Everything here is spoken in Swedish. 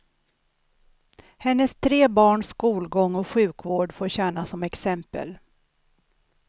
Hennes tre barns skolgång och sjukvård får tjäna som exempel.